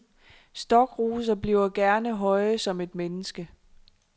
Stokroser bliver gerne høje som et menneske.